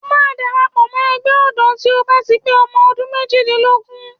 O máa darapọ̀ mọ́ Ẹgbẹ́ ọ̀dọ́ tí o bá ti pé ọmọ ọdún méjìdínlógún.